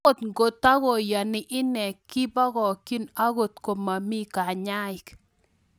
Ago takoyanii inee kipokyii angot komamii kanyaik